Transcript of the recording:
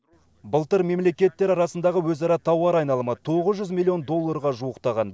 былтыр мемлекеттер арасындағы өзара тауар айналымы тоғыз жүз миллион долларға жуықтаған